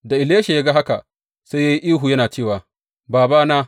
Da Elisha ya ga haka sai ya yi ihu yana cewa, Babana!